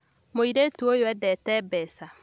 Mũirĩtu ũyũeendete mbeca